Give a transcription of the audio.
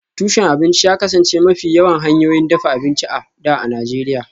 Tushen abinci ya kasance mafi yawan hanyoyin dafa abinci a da a Najeriya